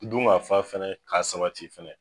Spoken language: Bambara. Dungafa fɛnɛ k'a sabati fɛnɛ